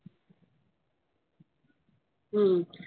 હમ